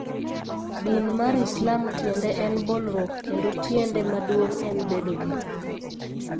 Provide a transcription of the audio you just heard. Din mar Islam tiende en bolruok kendo tiende maduong' en bedo gi kuwe.